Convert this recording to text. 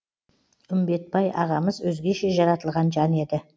үмбетбай ағамыз өзгеше жаратылған жан еді